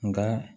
Nka